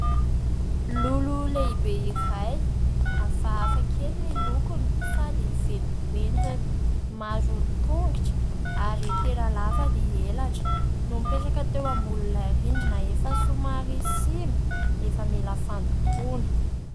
Lolo lehibe iray, hafahafa kely ny lokony sady feno pentina, maro tongotra ary tena lava ny elatra, mipetraka teo ambonin'ilay rindrina efa somary simba efa mila fandokoana.